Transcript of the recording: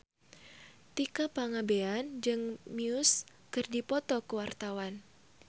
Tika Pangabean jeung Muse keur dipoto ku wartawan